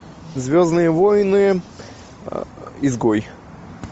звездные войны изгой